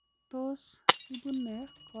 Tos ibunee koimutioniton?